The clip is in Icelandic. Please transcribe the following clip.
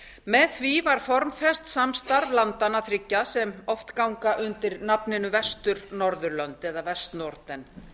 með því var formfest samstarf landanna þriggja sem oft ganga undir nafninu vestur norðurlönd eða vestnorden